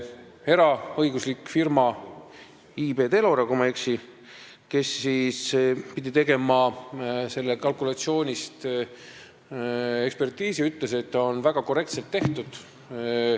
Eraõiguslik firma IB Telora – kui ma ei eksi –, kes pidi tegema kalkulatsioonist ekspertiisi, ütles, et see on väga korrektselt tehtud.